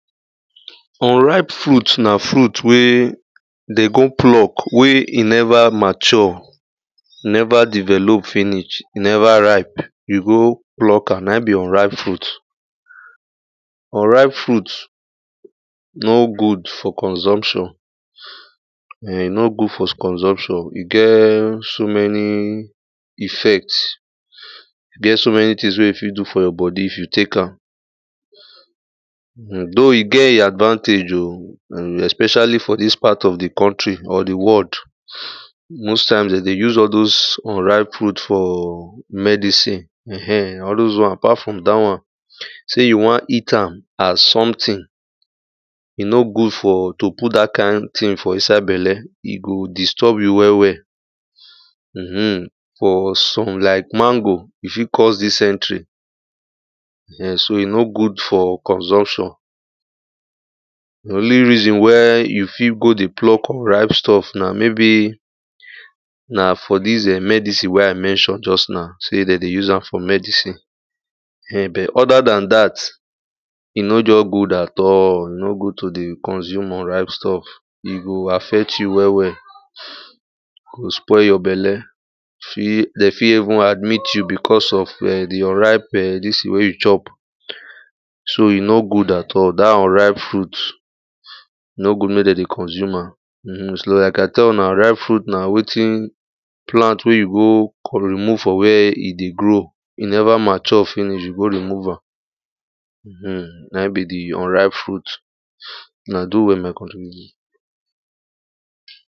Unripe fruit, na fruit wey dem go pluck wey e never mature, e never develop finish, e never ripe, you go pluck am, na im be unripe fruit. unripe fruit no good for consumption. [urn] e no good for consumption, e get so many effect, e get so many thing wey e fit do for your body if you take am. [urn] though e get im advantage oh, [urn] especially for dis part of di country, or di world most times dem dey use all doz unripe fruit for medicine ehen. All doz one, apart from dat one, sey you wan eat am as something, e no good for, to put dat kind thing for inside belle. E go disturb you well well [urn] for some like mango, e fit cause dysentery [urn] so e no good for consumption. Di only reason where you fit go dey pluck unripe stuff, na ,maybe for dis [urn] medicine wen I mention just now. Sey dem dey use am for medicine, [urn] but oda dan dat, e nor just good at all, e nor good to dey consume unripe stuff. E go affect you well well, e get spoil your belle, dem fit dem fit even admit you because of [urn] di [urn] unripe dis thing wen you chop. So e nor good at all, dat unripe fruit, e no good make dem dey consume am [urn] so like I tell una, unripe fruit na wetin, plant wey you go go remove from where e dey grow, e never mature finish, you go remove am [urn] na im be di unripe fruit. Una do well my country people.